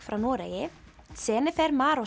frá Noregi